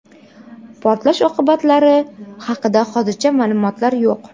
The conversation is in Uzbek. Portlash oqibatlari haqida hozircha ma’lumotlar yo‘q.